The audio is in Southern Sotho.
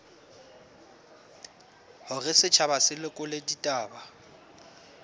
hore setjhaba se lekole ditaba